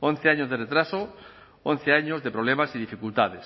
once años de retraso once años de problemas y dificultades